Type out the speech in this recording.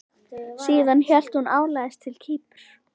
Síðan hélt hún áleiðis til Kýpur.